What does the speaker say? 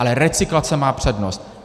Ale recyklace má přednost.